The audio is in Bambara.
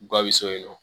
Ba bɛ so yen nɔ